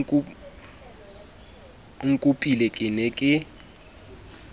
o nkopile ke ne ke